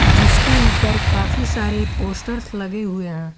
जिसके ऊपर काफी सारे पोस्टर्स लगे हुए हैं।